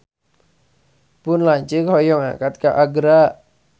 Pun lanceuk hoyong angkat ka Agra